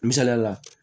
Misaliyala